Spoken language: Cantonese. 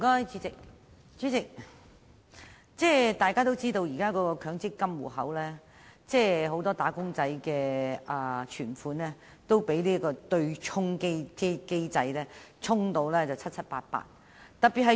主席，現時很多"打工仔"的強制性公積金戶口存款都被對沖機制"沖"得七七八八。